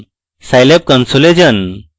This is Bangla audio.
scilab console এ যান